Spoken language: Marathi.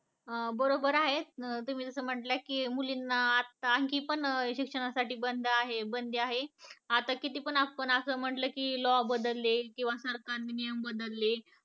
अं बरोबर आहे अं तुम्ही जस म्हणल्या की मुलींना आत्ता आणखीन पण शिक्षणासाठी बंद आहे बंदी आहे आता कितीपन आपण अस म्हणल की law बदलले किंवा सरकारने नियम बदलले